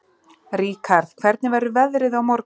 Ríkharð, hvernig verður veðrið á morgun?